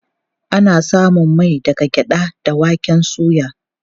Ana samun mai daga gyaɗa da waken soya.